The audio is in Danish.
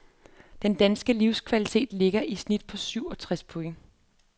Den danske livskvalitet ligger i snit på syv og treds point.